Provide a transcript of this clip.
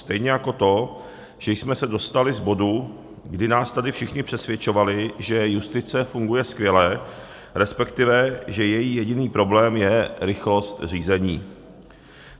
Stejně jako to, že jsme se dostali z bodu, kdy nás tady všichni přesvědčovali, že justice funguje skvěle, respektive že její jediný problém je rychlost řízení.